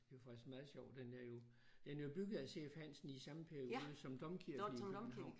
Det er jo faktisk meget sjovt den er jo den er jo bygget af C F Hansen i samme periode som domkirken i København